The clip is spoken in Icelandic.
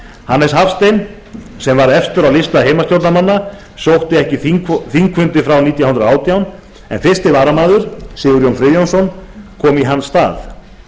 hannes hafstein sem var efstur á lista heimastjórnarmanna sótti ekki þingfundi frá nítján hundruð og átján en fyrsti varamaður sigurjón friðjónsson kom í hans stað